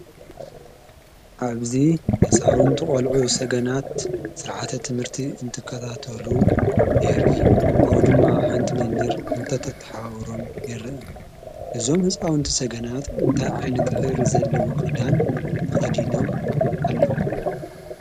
ኣብዚ ህፃውንቲ ቆልዑ ሰገናት ስርዓተ ትምህርቲ እንትከታተሉ የርኢ፡፡ ካብኡ ድማ ሓንቲ መምህር እንተተሓባብሮም ይረአ፡፡ እዞም ህፃውንቲ ሰገናት እንታይ ዓይነት ሕብሪ ዘለዎ ክዳን ተከዲኖም ኣለዉ?